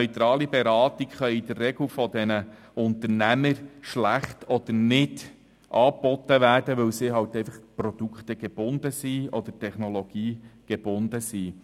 Neutrale Beratungen können von Unternehmern in der Regel schlecht oder nicht angeboten werden, weil sie produkte- oder technologiegebunden sind.